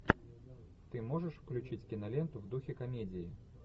ты можешь включить киноленту в духе комедии